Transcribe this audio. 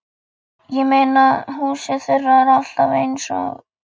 Ég meina, húsið þeirra er alltaf eins og